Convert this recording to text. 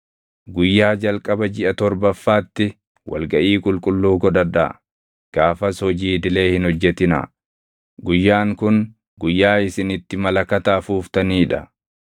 “ ‘Guyyaa jalqaba jiʼa torbaffaatti wal gaʼii qulqulluu godhadhaa; gaafas hojii idilee hin hojjetinaa. Guyyaan kun guyyaa isin itti malakata afuuftanii dha.